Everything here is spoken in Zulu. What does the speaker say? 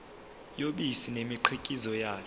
yobisi nemikhiqizo yalo